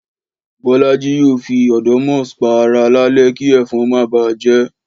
Bọ́lájí yóò fi odomos pa ara lálẹ́ kí ẹ̀fọn má bà á jẹ́